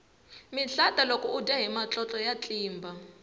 mihlata loko udya hi matlotlo ya tlimba